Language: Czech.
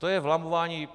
To je vlamování.